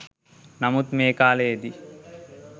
නමුත් මේ කාලයේදී